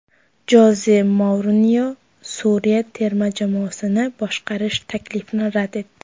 Joze Mourinyo Suriya terma jamoasini boshqarish taklifini rad etdi.